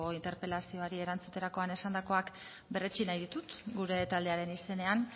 interpelazioari erantzuterakoan esandakoak berretsi nahi ditut gure taldearen izenean